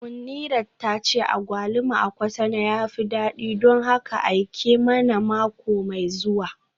Munirat tace agwaluma a Cotonou ya fi dadi don haka aike mana mako mai zuwa